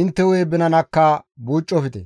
intte hu7e binanakka buucofte.